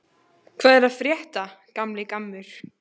Hvað er að frétta, gamli gammur?